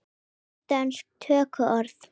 Nokkur dönsk tökuorð